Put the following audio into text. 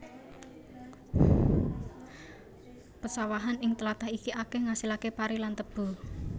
Pesawahan ing tlatah iki akeh ngasilake pari lan tebu